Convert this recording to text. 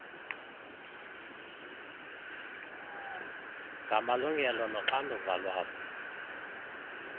ngamalungelo noxanduva lwabo